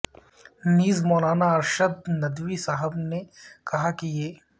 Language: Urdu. نیز مولانا ارشد ندوی صاحب نے کہا کہ یہ